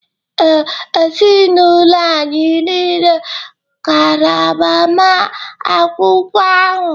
Ee, ezinụlọ anyị nile gara agbamakwụkwọ ahụ